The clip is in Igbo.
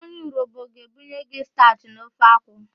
Onye Urobo ga-ebunye gị stachị na ofe akwu.